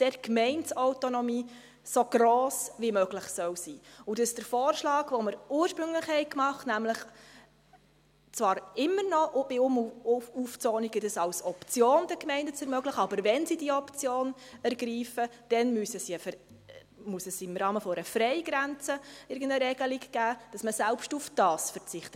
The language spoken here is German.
Die Gemeindeautonomie soll dort so gross wie möglich sein, und für den ursprünglich gemachten Vorschlag, nämlich, immer noch bei Um- und Aufzonungen als Option den Gemeinden zu ermöglichen, muss es aber, wenn sie diese Option ergreifen, im Rahmen einer Freigrenze irgendeine eine Regelung geben, selbst darauf zu verzichten.